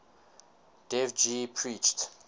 dev ji preached